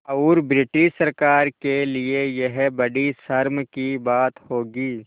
और ब्रिटिश सरकार के लिये यह बड़ी शर्म की बात होगी